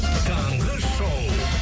таңғы шоу